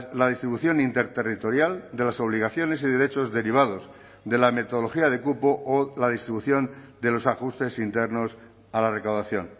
la distribución interterritorial de las obligaciones y derechos derivados de la metodología de cupo o la distribución de los ajustes internos a la recaudación